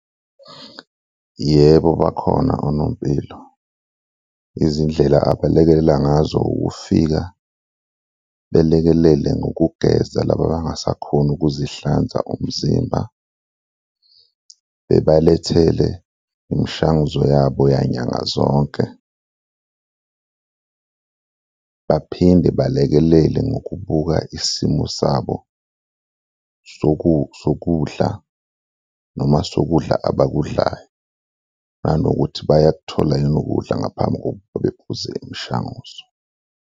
Yebo, bakhona onompilo, izindlela abalekelela ngazo ukufika belekelele ngokugeza laba abangasakhoni ukuzihlanza umzimba, bebalethele imishanguzo yabo yanyanga zonke baphinde balekelele ngokubuka isimo sabo sokudla noma sokudla abakudlayo nanokuthi bayakuthola yini ukudla ngaphambi kokuba bephuze imishanguzo.